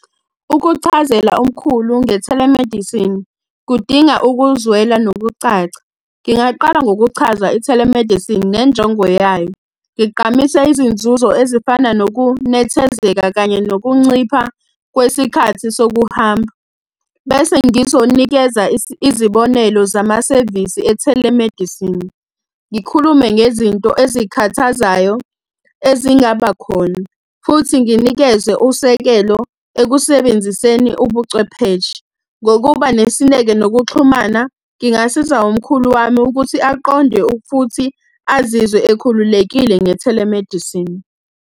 Ukuchazela umkhulu nge-telemedicine kudinga ukuzwela nokucaca. Ngingaqala ngokuchaza i-telemedicine nenjongo yayo. Ngigqamise izinzuzo ezifana nokunethezeka kanye nokuncipha kwesikhathi sokuhamba. Bese ngizonikeza izibonelo zamasevisi e-telemedicine. Ngikhulume ngezinto ezikhathazayo, ezingaba khona. Futhi nginikeze usekelo ekusebenziseni ubucwepheshe. Ngokuba nesineke nokuxhumana, ngingasiza umkhulu wami ukuthi aqonde futhi azizwe ekhululekile nge-telemedicine.